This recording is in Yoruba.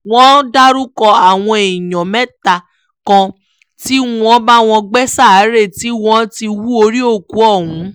wọ́n dárúkọ àwọn èèyàn mẹ́ta kan tí wọ́n bá wọn gbé sáréè tí wọ́n ti hú orí òkú ọ̀hún